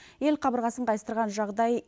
ел қабырғасын қайыстырған жағдай